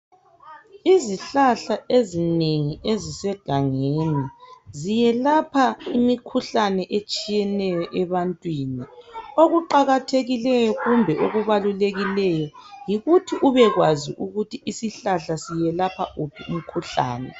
Izihlahla ezinengi ezisegangeni ziyelapha imikhuhlane etshiyeneyo ebantwini okuqakathekileyo kumbe okubalulekileyo yikuthi ubekwazi ukuthi isihlahla siyelapha uphi umkhuhlane.